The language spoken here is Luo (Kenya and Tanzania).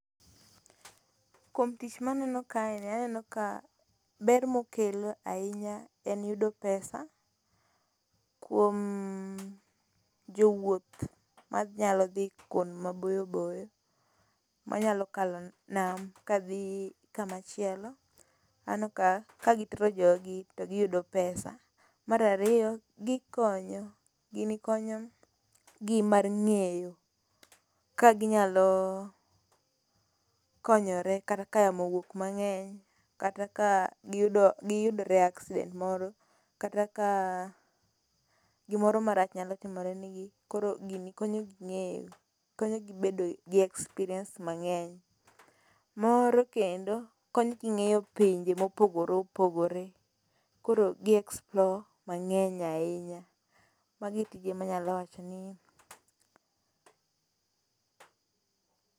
Kuom tich maneno kae ni aneno ka ber mokelo ahinya en yudo pesa kuom jowuoth manyalo dhi kuond maboyo boyo, manyalo kalo nam kadhi kamachielo, aneno ka kagi jogi to ginyudo pesa, mar ariyo gikonyo, gini konyo gi mar ngeyo ka ginyalo konyore kata ka yamo owuok mangeny kata ka giyudore e accident moro kata ka gimoro marach nyalo timore negi, koro gini konyogi ngeyo konyogi bedo gi experience mangeny. Moro kendo konyogi ngeyo pinje ma opogore opogore koro gi explore mangeny ahinya, magoo e tije manyalo wachoni...